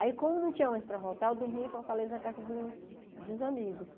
Aí, como não tinha ônibus para voltar, eu dormia em Fortaleza na casa de uns de uns amigos.